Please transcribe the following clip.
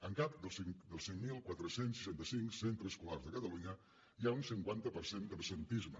en cap dels cinc mil quatre cents i seixanta cinc centres escolars de catalunya hi ha un cinquanta per cent d’absentisme